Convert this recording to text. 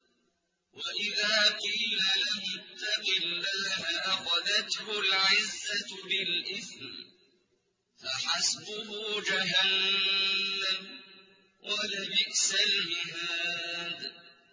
وَإِذَا قِيلَ لَهُ اتَّقِ اللَّهَ أَخَذَتْهُ الْعِزَّةُ بِالْإِثْمِ ۚ فَحَسْبُهُ جَهَنَّمُ ۚ وَلَبِئْسَ الْمِهَادُ